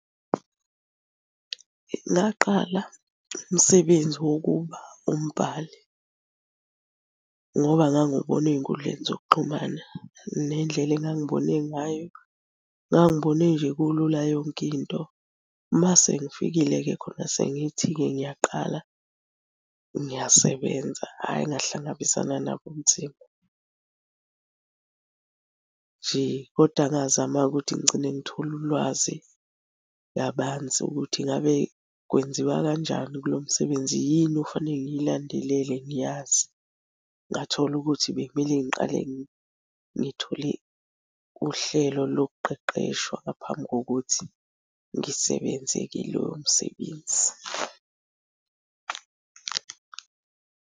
Ngaqala umsebenzi wokuba umbhali ngoba ngangubona ey'nkundleni zokuxhumana. Nendlela engangibone ngayo, ngangibone nje kulula yonke into. Mase ngifikile-ke khona sengithi-ke ngiyaqala ngiyasebenza, hhayi ngahlangabezana nabo ubunzima. Nje kodwa ngazama-ke ukuthi ngigcine ngithole ulwazi kabanzi ukuthi ngabe kwenziwa kanjani kulo msebenzi. Yini okufanele ngiyilandelele ngiyazi? Ngathola ukuthi bekumele ngiqale ngithole uhlelo lokuqeqeshwa ngaphambi kokuthi ngisebenze-ke lowo msebenzi.